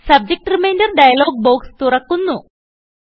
subject reminder dialog box തുറക്കു ന്നു